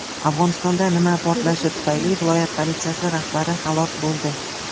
Afg‘onistonda mina portlashi tufayli viloyat politsiyasi rahbari halok bo‘ldi.